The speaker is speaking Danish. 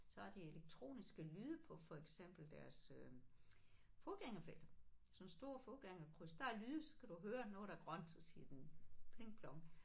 Så har de elektroniske lyde på for eksempel deres fodgængerfelter sådan store fodgængerkryds der er lyde så kan du høre nu er der grønt så siger den pling plong